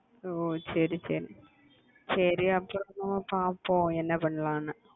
ஓஹ் சரி சரி சரி அப்பறமா பாப்போம் என்ன பண்ணலாம்ன்னு